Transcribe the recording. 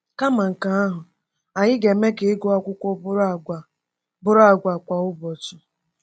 Kama nke ahụ, anyị ga-eme ka ịgụ akụkọ bụrụ àgwà bụrụ àgwà kwa ụbọchị.